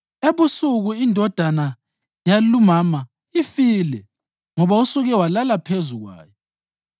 Ebusuku indodana yalumama ifile ngoba usuke walala phezu kwayo.